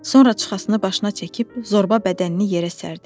Sonra çıxasını başına çəkib zorba bədənini yerə sərdi.